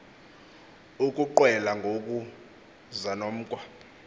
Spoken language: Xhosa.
ukuqwela ngoku zanomkhwa